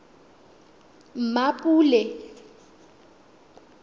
mmapule